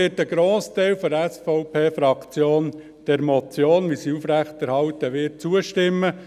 Ein Grossteil der SVP-Fraktion wird deshalb der Motion, wenn sie aufrechterhalten wird, zustimmen.